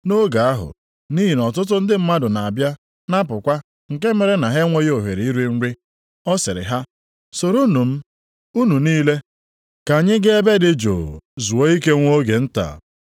Nʼoge ahụ, nʼihi na ọtụtụ ndị mmadụ na-abịa na-apụkwa nke mere na ha enweghị ohere iri nri, ọ sịrị ha, “Soronụ m, unu niile, ka anyị ga ebe dị jụụ, zuo ike nwa oge nta.”